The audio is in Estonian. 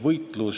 Madis Milling.